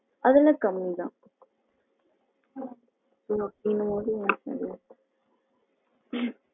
அதுயெல்லாம் கம்மி தான் ஆ